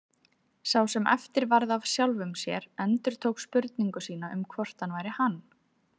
Sá sem eftir varð af sjálfum sér endurtók spurningu sína um hvort hann væri hann.